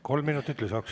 Kolm minutit lisaks.